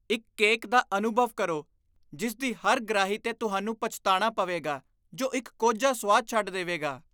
ਇੱਕ ਕੇਕ ਦਾ ਅਨੁਭਵ ਕਰੋ ਜਿਸ ਦੀ ਹਰ ਗ੍ਰਾਹੀ 'ਤੇ ਤੁਹਾਨੂੰ ਪਛਤਾਣਾ ਪਵੇਗਾ, ਜੋ ਇੱਕ ਕੋਝਾ ਸੁਆਦ ਛੱਡ ਦੇਵੇਗਾ